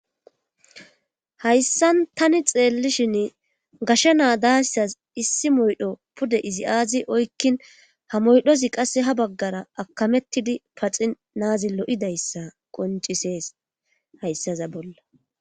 hayssan tani xeellishin gashsha naa daayssas issi moydho pude izi aazi oykkin ha moydhozi qasse ha baggara akamettidi paxi naazi lo7idayssa qoncisees hayssaza bolla